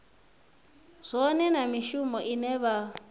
zwone na mishumo ine vha